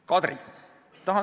Kadri!